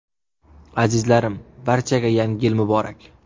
Azizlarim, barchaga – Yangi Yil muborak!